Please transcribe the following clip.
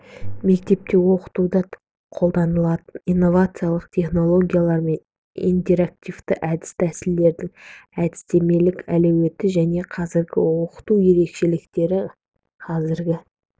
мектепте оқытуда қолданылатын инновациялық технологиялар мен интерактивті әдіс-тәсілдердің әдістемелік әлеуеті және қазіргі оқыту ерекшеліктері қазіргі